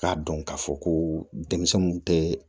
K'a dɔn k'a fɔ ko denmisɛnninw tɛ